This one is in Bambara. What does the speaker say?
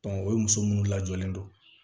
o muso munnu lajɔlen don